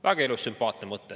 Väga ilus ja sümpaatne mõte.